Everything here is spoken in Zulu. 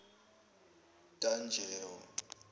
tanjewo